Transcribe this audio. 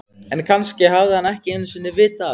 En kannski hafði hann ekki einu sinni vitað af henni.